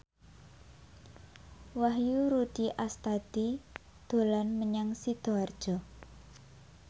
Wahyu Rudi Astadi dolan menyang Sidoarjo